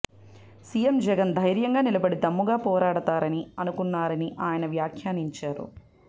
CM Jagan ధైర్యంగా నిలబడి దమ్ముగా పోరాడతారని అనుకున్నారని అయన వ్యాఖ్యానించారు